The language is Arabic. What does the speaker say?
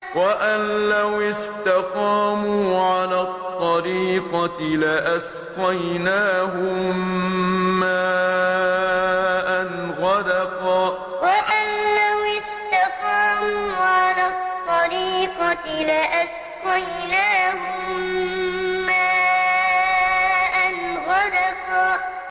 وَأَن لَّوِ اسْتَقَامُوا عَلَى الطَّرِيقَةِ لَأَسْقَيْنَاهُم مَّاءً غَدَقًا وَأَن لَّوِ اسْتَقَامُوا عَلَى الطَّرِيقَةِ لَأَسْقَيْنَاهُم مَّاءً غَدَقًا